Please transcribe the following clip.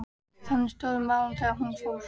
Þannig stóðu málin þegar hún fór.